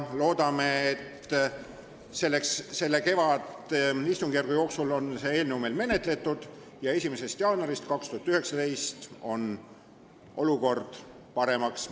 Loodame, et saame kevadistungjärgu jooksul selle eelnõu menetletud ja 1. jaanuarist 2019 muutub olukord paremaks.